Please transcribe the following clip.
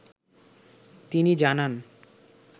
তিনি জানান